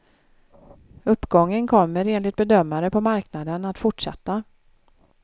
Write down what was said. Uppgången kommer, enligt bedömare på marknaden, att fortsätta.